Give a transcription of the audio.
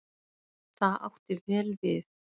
Það átti vel við.